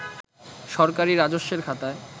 সরকারি রাজস্বের খাতায়